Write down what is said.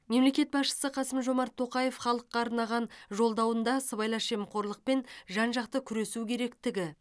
мемлекет басшысы қасым жомарт тоқаев халыққа арнаған жолдауында сыбайлас жемқорлықпен жан жақты күресу керектігі